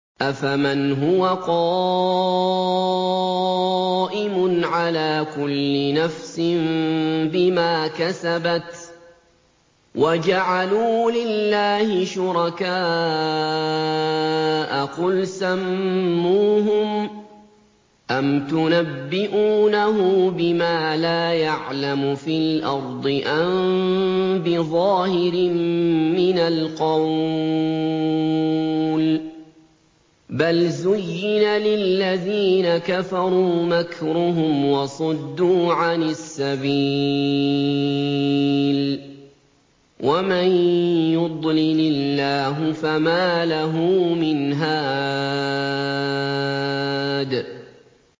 أَفَمَنْ هُوَ قَائِمٌ عَلَىٰ كُلِّ نَفْسٍ بِمَا كَسَبَتْ ۗ وَجَعَلُوا لِلَّهِ شُرَكَاءَ قُلْ سَمُّوهُمْ ۚ أَمْ تُنَبِّئُونَهُ بِمَا لَا يَعْلَمُ فِي الْأَرْضِ أَم بِظَاهِرٍ مِّنَ الْقَوْلِ ۗ بَلْ زُيِّنَ لِلَّذِينَ كَفَرُوا مَكْرُهُمْ وَصُدُّوا عَنِ السَّبِيلِ ۗ وَمَن يُضْلِلِ اللَّهُ فَمَا لَهُ مِنْ هَادٍ